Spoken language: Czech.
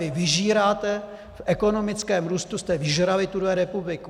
Vy vyžíráte, v ekonomickém růstu jste vyžrali tuhle republiku.